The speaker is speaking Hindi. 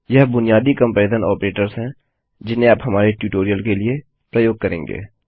यह बुनियादी कम्पेरिज़न आपरेटर्स हैं जिन्हें आप हमारे ट्यूटोरियल के लिए प्रयोग करेंगे